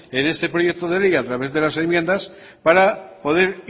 en este proyecto de ley a través de las enmiendas para poder